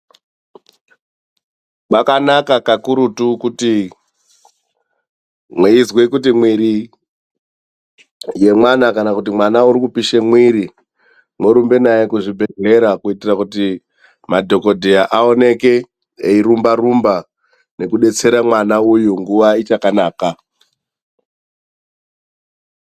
Kwakanaka kakurutu kuti mweizwe kuti mwiri yemwana, kana kuti mwana uri kupishe mwiri mworumba naye kuzvibhedhlera kuitira kuti madhokodheya aoneke eirumba -rumba echidetsera mwana uyu nguwa ichakanaka.